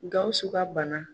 Gawusu ka bana.